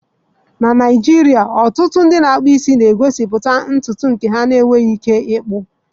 Na Naijiria, ụfọdụ ndị na-akpụ isi na-egosipụta ntutu isi nke ha enweghị ike ịkpu.